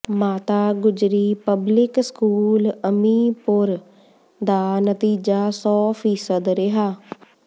ਮਾਤਾ Gujri public school Aminpur ਦਾ ਨਤੀਜਾ ਸੌ ਫੀਸਦ ਰਿਹਾ